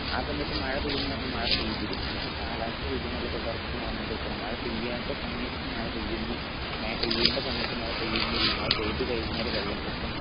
അ സമയത് മഴപെയ്യും ന്ന് പറഞ്ഞ പെയ്തിരിക്കും പക്ഷെ കാലാവസ്ഥ വ്യതിയാനല്ലേ യഥാർത്ഥത്തിൽ നടന്നോണ്ടിരിക്കണേ മഴ പെയ്യാത്ത സമയത് മഴ പെയ്യുന്നു മഴ പെയ്യേണ്ട സമയത് മഴ പെയുന്നില്ല മഴ പെയ്ത കഴിഞ്ഞാൽ വെള്ളപൊക്കം